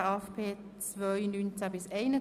Lastenverschiebung zu den Gemeinden;